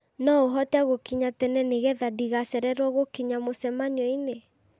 no ũhote gũkinya tene nĩgetha ndigacererwo gũkinya mũcemanio-inĩ